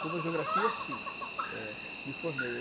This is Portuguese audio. Como geografia, sim, eh, me formei.